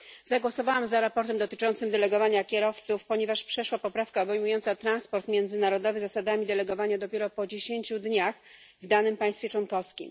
Zagłosowałam za sprawozdaniem dotyczącym delegowania kierowców, ponieważ przeszła poprawka obejmująca transport międzynarodowy zasadami delegowania dopiero po dziesięciu dniach w danym państwie członkowskim.